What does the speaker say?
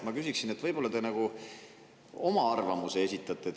Ma küsiksin teie arvamust.